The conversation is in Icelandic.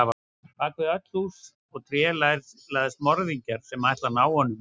Bak við öll hús og tré læðast morðingjar sem ætla að ná honum.